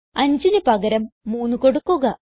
5ന് പകരം 3 കൊടുക്കുക